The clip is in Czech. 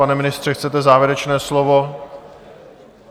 Pane ministře, chcete závěrečné slovo?